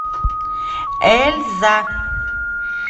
эльза